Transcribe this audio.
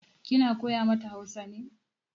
Kina koya mata Hausa ne?